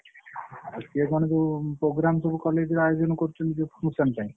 ଆଉ ସିଏ କଣ ସବୁ program ସବୁ college ରେ ଆୟୋଜନ କରୁଛନ୍ତି ସେଇ function ପାଇଁ।